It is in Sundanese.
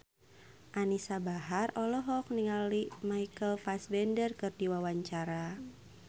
Anisa Bahar olohok ningali Michael Fassbender keur diwawancara